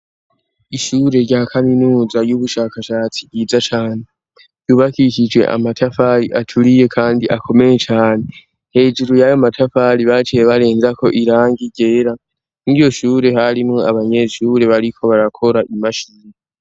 Ishure rya kaminuza y'ubushakashatsi ryiza cane, yubakishije amatafari aturiye kandi akomeye cane. Hejjuru yayo matafari baciye barenzako irangi ryera. Mw'iryo shure, harimwo abanyeshure bariko barakora imashini.